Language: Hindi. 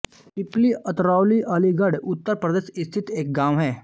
पिपली अतरौली अलीगढ़ उत्तर प्रदेश स्थित एक गाँव है